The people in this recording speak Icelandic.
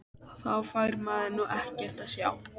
Þá fær maður nú ekkert að sjá!!